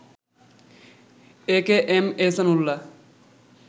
AKM Ehsan Ullah